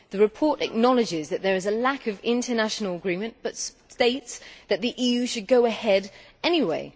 The report acknowledges that there is a lack of international agreement but states that the EU should go ahead anyway.